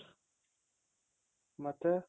ಮತ್ತೆ